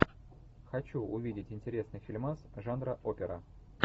хочу увидеть интересный фильмас жанра опера